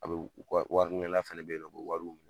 A bɛ , wa wari minɛna fɛnɛ bɛ yen nɔ, a bɛ wariw minɛ .